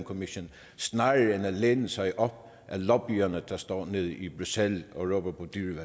commission snarere end at læne sig op ad lobbyisterne der står nede i bruxelles og råber